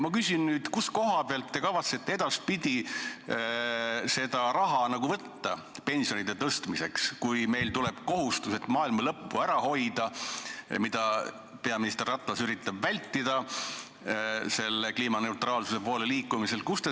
Kust koha pealt te kavatsete edaspidi seda raha pensionide tõstmiseks võtta, kui meil tuleb kohustus maailma lõppu ära hoida, mida peaminister Ratas üritab vältida kliimaneutraalsuse poole liikumisega?